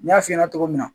N y'a f'i ɲɛna cogo min na